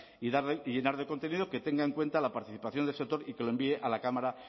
y llenar de contenido que tenga en cuenta la participación del sector y que lo envíe a la cámara